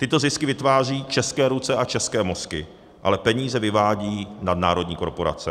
Tyto zisky vytváří české ruce a české mozky, ale peníze vyvádí nadnárodní korporace.